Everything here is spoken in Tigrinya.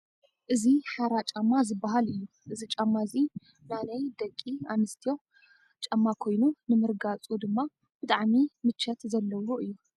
እዚ ሓራ ጫማ ዝባሃል እዩ ። እዚ ጫማ እዚ ናነይ ደቂ ኣነስትዮ ጫማ ኮይኑ ንምርጓፁ ድማ ብጣዕሚ ምቸር ዘለዎ እዩ ።